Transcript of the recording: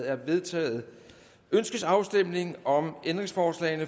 er vedtaget ønskes afstemning om ændringsforslag